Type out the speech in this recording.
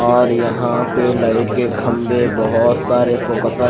और यहां पे लाइट के खंभे बहुत सारे फोकस --